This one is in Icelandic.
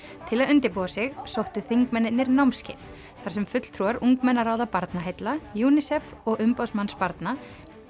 til að undirbúa sig sóttu þingmennirnir námskeið þar sem fulltrúar ungmennaráða Barnaheilla UNICEF og umboðsmanns barna